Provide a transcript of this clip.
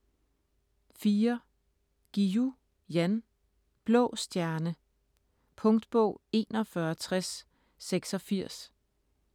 Guillou, Jan: Blå stjerne Punktbog 416086